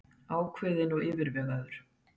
Ákveðinn og yfirvegaður.